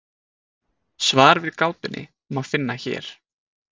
Svar við gátunni má finna hér.